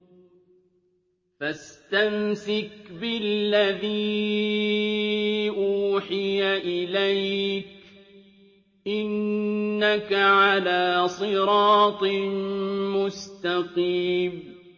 فَاسْتَمْسِكْ بِالَّذِي أُوحِيَ إِلَيْكَ ۖ إِنَّكَ عَلَىٰ صِرَاطٍ مُّسْتَقِيمٍ